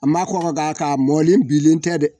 A ma kɔkɔ ga ka mɔnen bilen tɛ dɛ